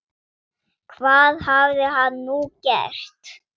Hvað hafði hann nú gert?